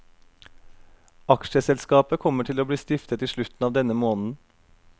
Aksjeselskapet kommer til å bli stiftet i slutten av denne måneden.